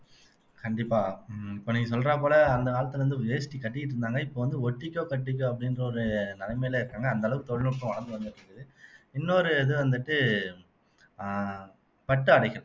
கண்டிப்பா உம் இப்ப நீங்க சொல்ற போல அந்த காலத்துல இருந்து வேஷ்டி கட்டிட்டு இருந்தாங்க இப்ப வந்து ஒட்டிக்கோ கட்டிக்கோ அப்படின்ற ஒரு நிலைமையில இருக்காங்க அந்த அளவுக்கு தொழில்நுட்பம் வளர்ந்து வந்துட்டு இருக்குது இன்னொரு இது வந்துட்டு அஹ் பட்டு ஆடைகள்